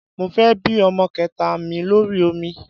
Mo fẹ́ bí ọmọ kẹta mi lórí omi